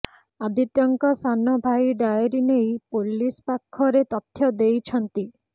ଆଦିତ୍ୟଙ୍କ ସାନ ଭାଇ ଡାଏରୀ ନେଇ ପୋଲିସ ପାଖରେ ତଥ୍ୟ ଦେଇଛନ୍ତି